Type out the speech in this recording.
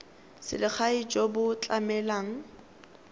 selegae jo bo tlamelang ka